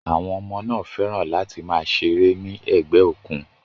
Àwọn ọmọ náà fẹ́ràn láti máa ṣeré ní ẹ̀gbẹ́ òkun.